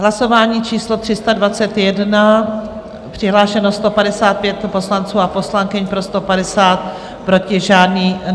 Hlasování číslo 321, přihlášeno 155 poslanců a poslankyň, pro 150, proti žádný.